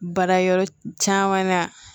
Baara yɔrɔ caman na